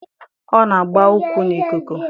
Ọ na-agba ụkwụ n'ikuku